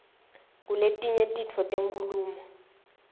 kuletinye titfo tenkhulumo